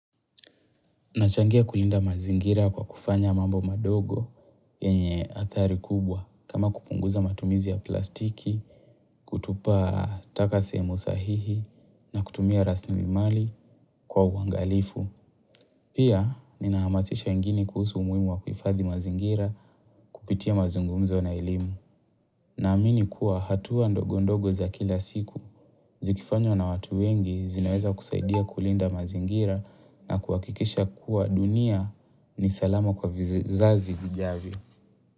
Nachangia kulinda mazingira kwa kufanya mambo madogo yenye athari kubwa kama kupunguza matumizi ya plastiki, kutupa taka sehemu sahihi na kutumia rasilimali kwa uangalifu. Pia, ninaamasisha wengine kuhusu umuhimu wa kuifadhi mazingira kupitia mazungumuzo na elimu. Na amini kuwa hatuwa ndogo ndogo za kila siku, zikifanywa na watu wengi zinaweza kusaidia kulinda mazingira na kuhakikisha kuwa dunia ni salama kwa vizazi vijavyo.